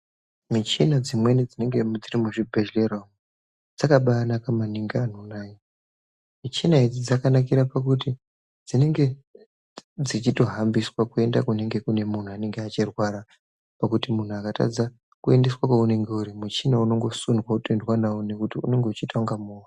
Michina dzimweni dzinenge dziri mu zvibhedhlera umu dzakabai naka maningi anhu nhai michina idzi dzakanakira pakuti dzinenge dzichito hambiswa kuenda kunenge kune munhu anenge achi rwara nekuti munhu akatadza kuendeswe kwe unenge uri muchina unondo sundwa woyendwa nawo nekuti unonga uchita kunga movha.